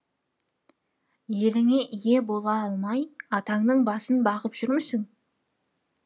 еліңе ие бола алмай атаңның басын бағып жүрмісің